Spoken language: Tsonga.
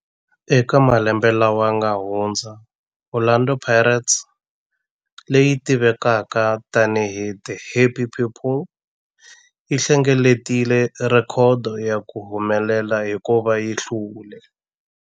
Eka malembe lawa yanga hundza, Orlando Pirates, leyi tivekaka tani hi 'The Happy People', yi hlengeletile rhekhodo ya ku humelela hikuva yi hlule.